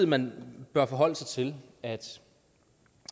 man bør forholde sig til at